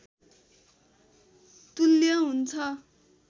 तुल्य हुन्छ